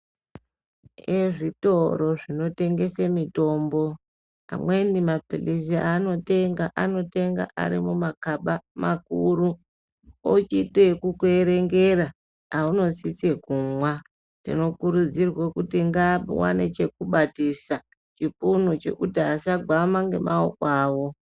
Ezvitoro zvinotengese mitombo amweni mapilizi aanotenga, anotenga ari mumakaba makuru ochiite okukuerengera aunosisa kumwa. Tinokurudzirwe kuti ngapawane chekubatisa chipunu chokuti asagwama nemaoko awo.